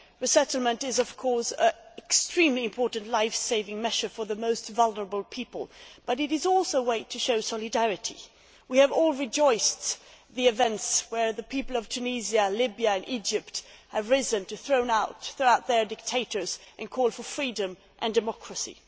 Resettlement is of course an extremely important life saving measure for the most vulnerable people, but it is also a way to show solidarity. We have all rejoiced at events as the people of Tunisia, Libya and Egypt have risen to throw out their dictators and call for freedom and democracy.